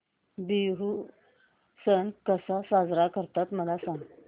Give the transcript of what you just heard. बिहू सण कसा साजरा करतात मला सांग